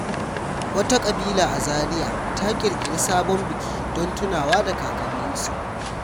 Wata ƙabila a Zaria ta ƙirƙiri sabon biki don tunawa da kakanninsu.